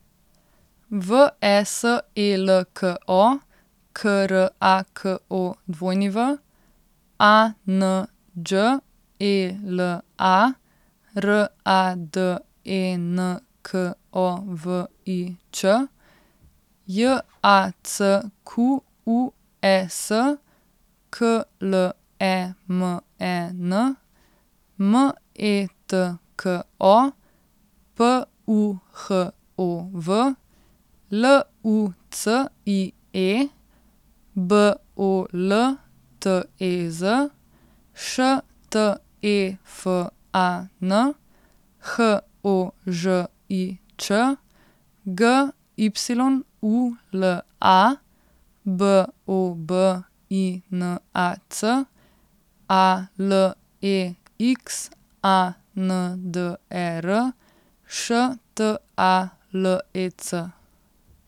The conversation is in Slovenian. V E S E L K O, K R A K O W; A N Đ E L A, R A D E N K O V I Ć; J A C Q U E S, K L E M E N; M E T K O, P U H O V; L U C I E, B O L T E Z; Š T E F A N, H O Ž I Č; G Y U L A, B O B I N A C; A L E X A N D E R, Š T A L E C.